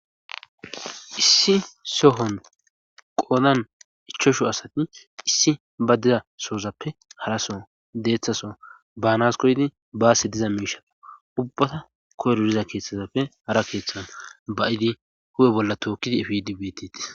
Issi sohon qoodan ichoshu asati issi ba dida soozappe haraso deeththaso baanas koydi baasse diza miishato ubbata koyrodiza keeththazappe hara keeththan bayidi hu7e bolla tookkidi ifidibtiti